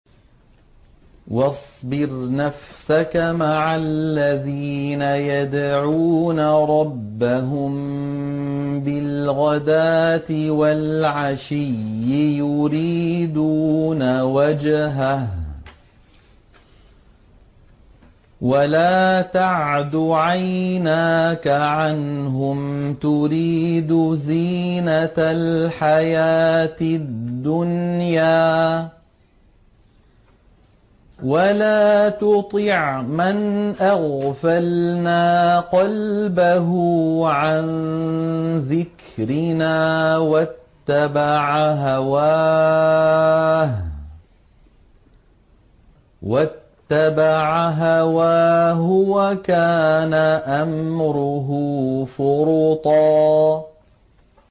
وَاصْبِرْ نَفْسَكَ مَعَ الَّذِينَ يَدْعُونَ رَبَّهُم بِالْغَدَاةِ وَالْعَشِيِّ يُرِيدُونَ وَجْهَهُ ۖ وَلَا تَعْدُ عَيْنَاكَ عَنْهُمْ تُرِيدُ زِينَةَ الْحَيَاةِ الدُّنْيَا ۖ وَلَا تُطِعْ مَنْ أَغْفَلْنَا قَلْبَهُ عَن ذِكْرِنَا وَاتَّبَعَ هَوَاهُ وَكَانَ أَمْرُهُ فُرُطًا